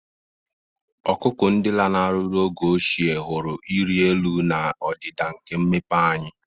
Ọkụkụ, ndị lanarịrị oge ochie, hụrụ ịrị elu na ọdịda nke mmepeanya.